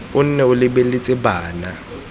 o nne o lebeletse bana